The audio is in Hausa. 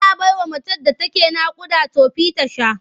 Ana bawa macen da take naƙuda tofi ta sha.